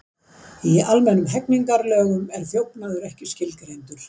Í almennum hegningarlögum er þjófnaður ekki skilgreindur.